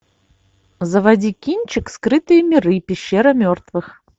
заводи кинчик скрытые миры пещера мертвых